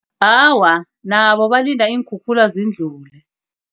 Awa, nabo balinda iinkhukhula zindlule.